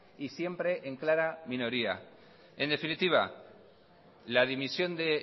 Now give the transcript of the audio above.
y siempre en clara minoría en definitiva la dimisión de